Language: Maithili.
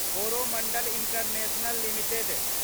Coromandel International limited